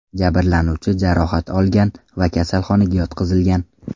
Jabrlanuvchi jarohat olgan va kasalxonaga yotqizilgan.